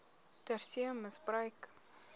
ter see misbruik